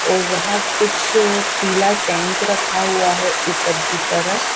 और वहां कुछ पीला टैंक रखा हुआ है ऊपर की तरफ--